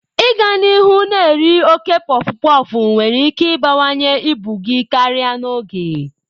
Ịga n'ihu na-eri oke pọfụpọfụ nwere ike ịbawanye ibu gị karịa n'oge.